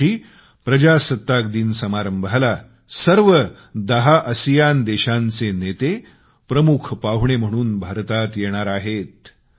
यावर्षी प्रजासत्ताक दिन समारंभाला सर्व दहा आसियान देशांचे नेते प्रमुख पाहुणे म्हणून भारतात येणार आहेत